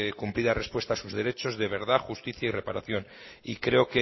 cumplida respuesta a sus derecho de verdad justicia y reparación y creo